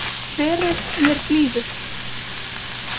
Verið mér blíður.